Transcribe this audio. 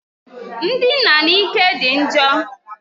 Ndina n'ike dị njọ.